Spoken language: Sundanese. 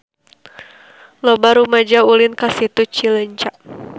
Loba rumaja ulin ka Situ Cileunca